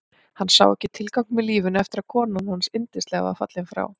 Hann sá ekki tilgang með lífinu eftir að konan hans yndislega var fallin frá.